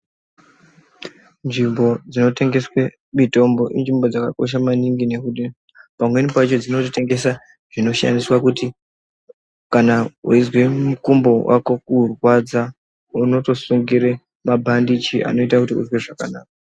Nzvimbo dzino tengeswe mitombo inzvimbo dzaka kosha maningi nekuti pamweni pacho dzinoto tengesa zvinoshandiswa kuti kana weizwa mukumbo wako kurwadza unoto sungire ma bhandichi anoita kuti unzwe zvakanaka.